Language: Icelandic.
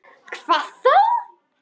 Hvað þá!